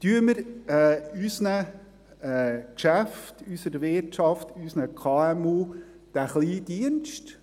Tun wir unseren Geschäften, unserer Wirtschaft, unseren KMU diesen kleinen Dienst.